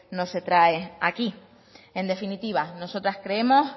no se trae aquí en definitiva nosotras creemos